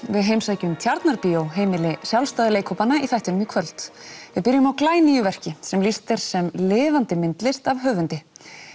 við heimsækjum Tjarnarbíó heimili sjálfstæðu leikhópanna í þættinum í kvöld við byrjum á glænýju verki sem lýst er sem lifandi myndlist af höfundi